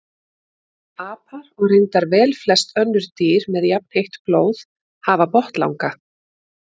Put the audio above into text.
Apar og reyndar velflest önnur dýr með jafnheitt blóð hafa botnlanga.